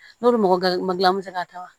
N'olu mɔgɔ ma gilan misali taa wa